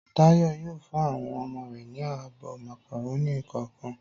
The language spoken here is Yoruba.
Táyọ̀ yóò fún àwọn ọmọ rẹ̀ ní abọ́ màkàrónì kọ̀ọ̀kan.